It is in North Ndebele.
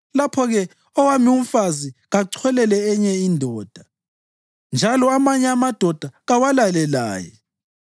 lapho-ke owami umfazi kacholele enye indoda, njalo amanye amadoda kawalale laye.